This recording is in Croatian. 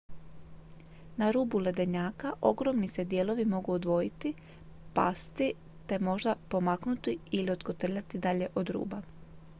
na rubu ledenjaka ogromni se dijelovi mogu odvojiti pasti te možda pomaknuti ili otkotrljati dalje od ruba